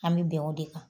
An bɛ bɛn o de kan